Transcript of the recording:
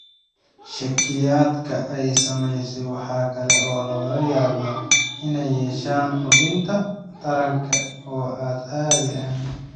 Shakhsiyaadka ay saamaysay waxa kale oo laga yaabaa inay yeeshaan xubinta taranka oo aan caadi ahayn.